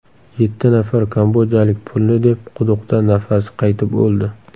Yetti nafar kambodjalik pulni deb quduqda nafasi qaytib o‘ldi.